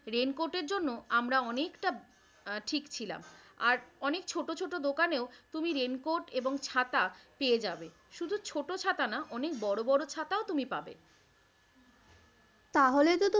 raincoat এর জন্য আমরা অনেকটা ঠিক ছিলাম, আর অনেক ছোট ছোট দোকানেও তুমি raincoat এবং ছাতা পেয়ে যাবে। শুধু ছোট ছাতা না অনেক বড় বড় ছাতাও তুমি পাবে। তাহলে তো,